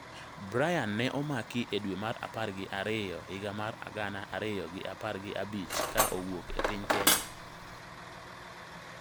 Brian ne omaki e dwe mar apar gi ariyo higa mar gana ariyo gi apar gi abich ka owuok e piny Kenya.